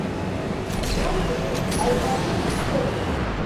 отзывы айболит сервис